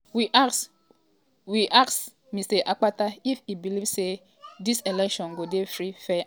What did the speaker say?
we ask we ask mr akpata if e believe say dis election go dey free fair and credible.